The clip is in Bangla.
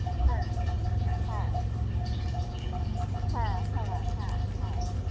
হ্যা, হ্যা, হ্যা হ্যা হ্যা হ্যা